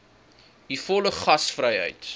u volle gasvryheid